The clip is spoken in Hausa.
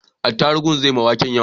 Atarubun zai ma waken yawa